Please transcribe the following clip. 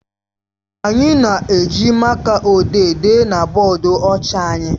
Anyị na-eji máká ojii dee na bọọdụ ọcha anyị.